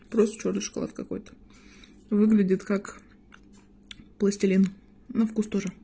просто чёрный шоколад какой-то выглядит как пластилин на вкус тоже